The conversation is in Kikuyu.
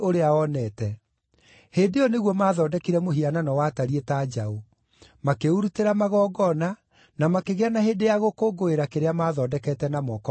Hĩndĩ ĩyo nĩguo maathondekire mũhianano watariĩ ta njaũ. Makĩũrutĩra magongona, na makĩgĩa na hĩndĩ ya gũkũngũĩra kĩrĩa maathondekete na moko mao.